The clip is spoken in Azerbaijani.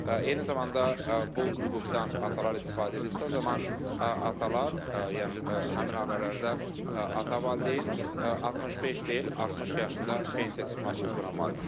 Eyni zamanda bu hüquqdan atalar istifadə edirsə, o zaman atalar, yəni həmin ailələrdə ata valideyn 65 deyil, 60 yaşında pensiya çıxmaq hüququna malikdir.